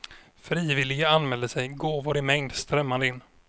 Frivilliga anmälde sig, gåvor i mängd strömmade in.